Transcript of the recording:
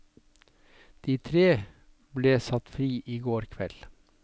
De tre ble satt fri i går kveld.